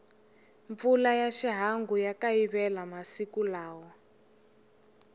mpfula ya xihangu ya kayivela masiku lawa